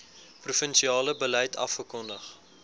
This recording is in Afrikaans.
provinsiale beleid afgekondig